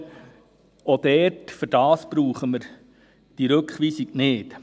Auch dafür brauchen wir diese Rückweisung nicht.